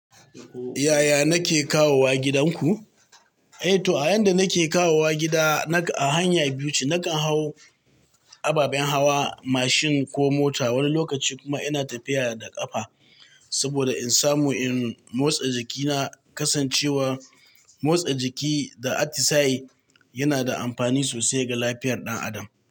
Yaya nake kawowa gidan ku? Eh to, a yan da nake kawowa gida, naka a hanya biyu ce. Nakan hau ababen hawa, mashin ko mota, wani lokaci kuma ina tafiya da ƙafa. Saboda in samu in motsa jikina, kasancewar motsa jiki da atisai yana da amfani sosai ga lafiyar ɗan adam.